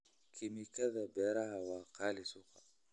Kiimikada beeraha waa qaali suuqa.